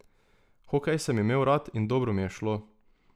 Hokej sem imel rad in dobro mi je šlo.